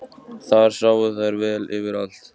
Þar sáu þær vel yfir allt.